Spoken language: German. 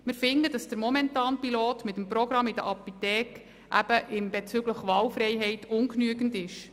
Wir finden, dass das momentane Pilotprogramm der Apotheken bezüglich Wahlfreiheit ungenügend ist.